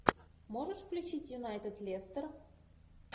можешь включить юнайтед лестер